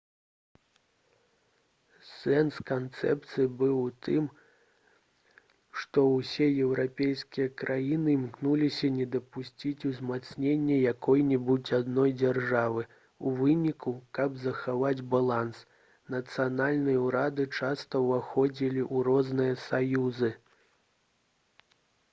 сэнс канцэпцыі быў у тым што ўсе еўрапейскія краіны імкнуліся не дапусціць узмацнення якой-небудзь адной дзяржавы у выніку каб захаваць баланс нацыянальныя ўрады часта ўваходзілі ў розныя саюзы